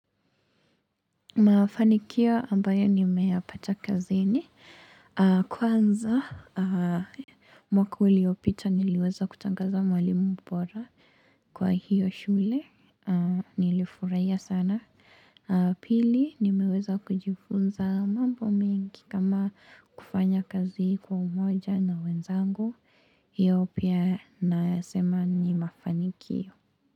Mafanikio ambayo nimeyapata kazini kwanza mwaka uliopita niliweza kutangazwa mwalimu bora kwa hiyo shule. Nilifurahia sana pili nimeweza kujifunza mambo mingi kama kufanya kazi kwa umoja na wenzangu, hiyo pia nasema ni mafanikio.